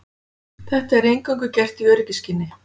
Þetta er eingöngu gert í öryggisskyni